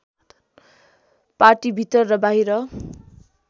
पार्टीभित्र र बाहिर